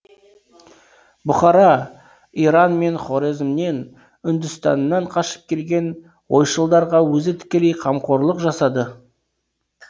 бұхара иран мен хорезмнен үндістаннан қашып келген ойшылдарға өзі тікелей қамқорлық жасады